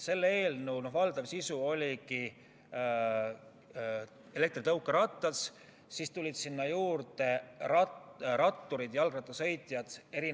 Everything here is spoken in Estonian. Selle eelnõu valdav sisu oli seotud elektritõukeratastega, sinna juurde tulid ratturid rattaradadel, kõnniteedel.